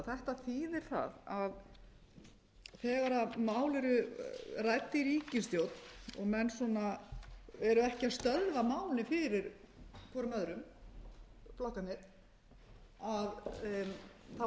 þetta þýðir það að þegar mál eru rædd í ríkisstjórn og menn svona eru ekki að stöðva málið fyrir hvorum öðrum flokkarnir eru þeir í